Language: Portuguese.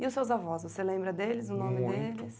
E os seus avós, você lembra deles, o nome deles?